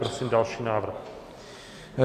Prosím další návrh.